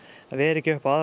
vera ekki upp á aðra